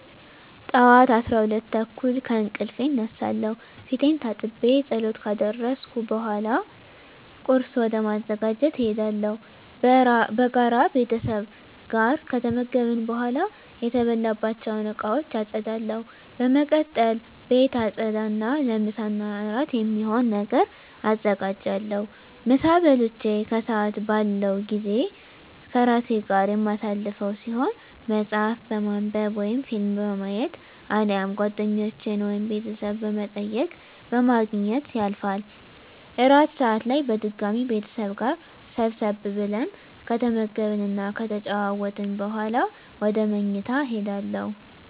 ጠዋት 12:30 ከእንቅልፌ እነሳለሁ። ፊቴን ታጥቤ ፀሎት ካደረስኩ በኃላ ቁርስ ወደ ማዘጋጀት እሄዳለሁ። በጋራ ቤተሰብ ጋር ከተመገብን በኃላ የተበላባቸውን እቃወች አፀዳለሁ። በመቀጠል ቤት አፀዳ እና ለምሳ እና እራት የሚሆን ነገር አዘጋጃለሁ። ምሳ በልቼ ከሰአት ያለው ጊዜ ከራሴ ጋር የማሳልፈው ሲሆን መፀሀፍ በማንብ ወይም ፊልም በማየት አሊያም ጓደኞቼን ወይም ቤተሰብ በመጠየቅ በማግኘት ያልፋል። እራት ሰአት ላይ በድጋሚ ቤተሰብ ጋር ሰብሰብ ብለን ከተመገብን እና ከተጨዋወትን በኃላ ወደ ምኝታ እሄዳለሁ።